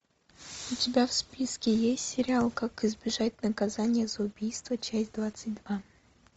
у тебя в списке есть сериал как избежать наказания за убийство часть двадцать два